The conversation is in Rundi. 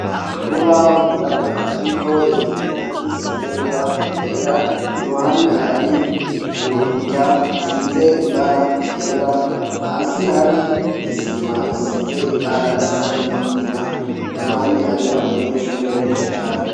Urubaho rwirabura ruriko ibintu vyanditse n'ingwa yera iruhande hari urukuta rusize ibara ryera hasi hari isima isize ibara risa n'umugina iruhande hari abanyeshuri beshi cane.